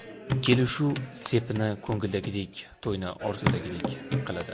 Kelishuv sepni ko‘ngildagidek, to‘yni orzudagidek qiladi!